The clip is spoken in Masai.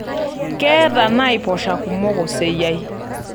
Keeta naiposha kumok oseyiai.